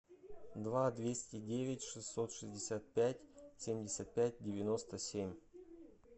два двести девять шестьсот шестьдесят пять семьдесят пять девяносто семь